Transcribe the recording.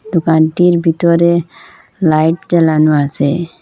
দোকানটির ভিতরে লাইট জ্বালানো আছে।